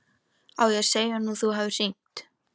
Á ég að segja honum að þú hafir hringt?